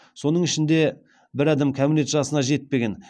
соның ішінде бір адам кәмелет жасына жетпеген